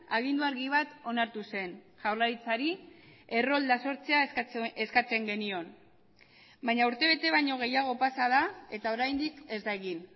agindu argi bat onartu zen jaurlaritzari errolda sortzea eskatzen genion baina urtebete baino gehiago pasa da eta oraindik ez da egin